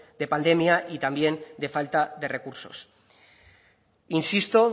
de pandemia y también de falta de recursos insisto